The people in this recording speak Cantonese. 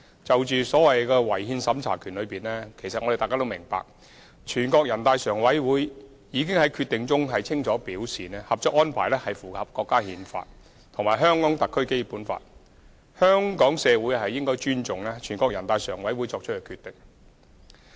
至於違憲審查權，相信大家均明白，全國人大常委會已在其決定中清楚表示，《合作安排》符合《中華人民共和國憲法》及《香港特別行政區基本法》，香港社會應尊重全國人大常委會作出的決定。